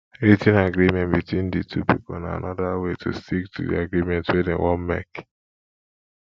writ ten agreement between di two pipo na anoda way to stick to di agreement wey dem wan make